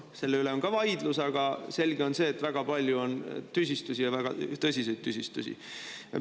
Selle üle on vaidlus, aga selge on see, et väga palju on tüsistusi, ja väga tõsiseid tüsistusi.